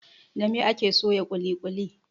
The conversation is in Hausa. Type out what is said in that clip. Da mai ake soya ƙuli ƙuli